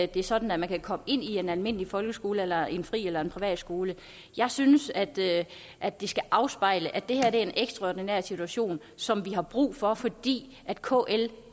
det sådan at man kan komme ind på en almindelig folkeskole eller en fri eller en privatskole jeg synes at det at det skal afspejle at det her er en ekstraordinær situation som vi har brug for fordi kl